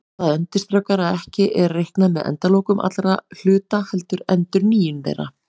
Það undirstrikar að ekki er reiknað með endalokum allra hluta heldur endurnýjun þeirra.